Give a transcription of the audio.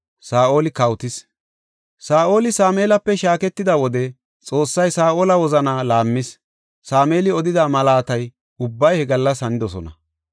Saa7oli Sameelape shaaketida wode Xoossay Saa7ola wozanaa laammis; Sameeli odida mallati ubbay he gallas hanidosona.